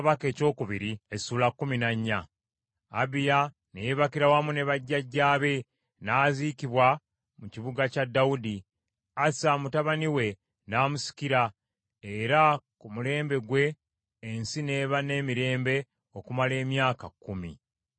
Abiya ne yeebakira wamu ne bajjajjaabe n’aziikibwa mu kibuga kya Dawudi. Asa mutabani we n’amusikira, era ku mulembe gwe ensi n’eba n’emirembe okumala emyaka kkumi.